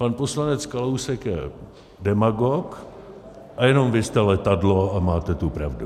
Pan poslanec Kalousek je demagog - a jenom vy jste letadlo a máte tu pravdu.